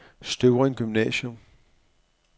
Støvring Gymnasium